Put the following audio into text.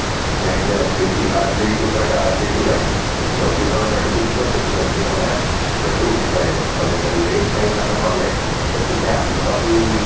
line ତେ ଅଛି କି early to bed early to rise ଯେତେ ଜଲଦି ତମେ bed କୁ ଯିବ ସେତେ ଜଲଦି ତମେ bed ରୁ ଉଠିପାରିବ ଆଉ ଯେତେ late night ଆମେ କଲେ ସେତିକି ଆମର ହି